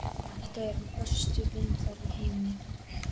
Þetta eru bestu vindlar í heimi.